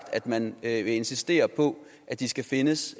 at man vil insistere på at de skal findes